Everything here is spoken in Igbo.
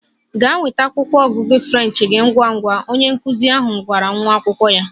Gaa nweta akwụkwọ ọgụgụ French gị ngwa ngwa! Onye nkụzi ahụ gwara nwa akwụkwọ ya.